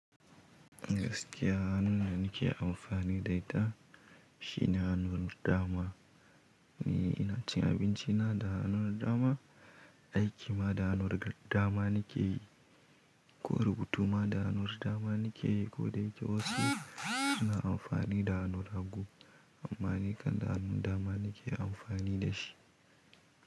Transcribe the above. Gaskiya hannun da nake amfani da ita shi ne hannun dama. Ni ina cin abinci na da hannun dama, aiki ma da hannur dama nake yi, ko rubutu ma da hannur dama nake yi, ko da yake wasu suna amfani da hanur hagu. Amma ni kan da hannun dama nake amfani da shi.